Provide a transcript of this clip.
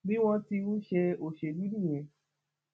bí wọn ti ń ṣe òṣèlú nìyẹn